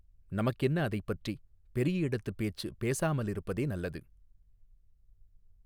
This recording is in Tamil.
நமக்கென்ன அதைப்பற்றி பெரிய இடத்துப் பேச்சு பேசாமலிருப்பதே நல்லது.